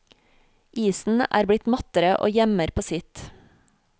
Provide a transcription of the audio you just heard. Isen er blitt mattere og gjemmer på sitt.